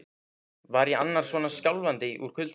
Var ég annars svona skjálfandi úr kulda?